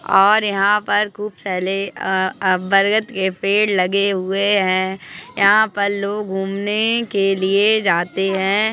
और यहाँ पर खुप साले आ आ बरगद के पेड़ लगे हुए है। यहाँ पर लोग घूमने के लिए जाते है।